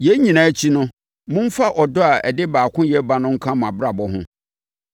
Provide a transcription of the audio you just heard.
Yei nyinaa akyi no, momfa ɔdɔ a ɛde baakoyɛ ba no nka mo abrabɔ ho.